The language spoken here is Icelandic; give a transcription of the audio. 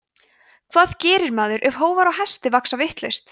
hvað gerir maður ef hófar á hestum vaxa vitlaust